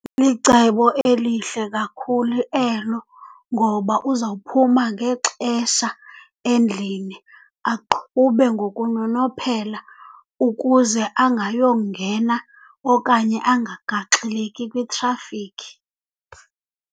Licebo elihle kakhulu elo ngoba uzawuphuma ngexesha endlini, aqhube ngokunonophela ukuze angayongena okanye angagaxeleki kwitrafikhi.